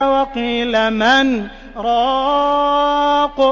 وَقِيلَ مَنْ ۜ رَاقٍ